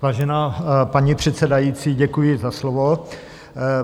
Vážená paní předsedající, děkuji za slovo.